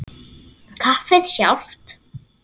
Kaffið sjálft.